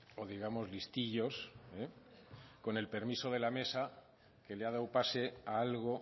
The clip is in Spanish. o digamos listillos con el permiso de la mesa que le ha dado pase a algo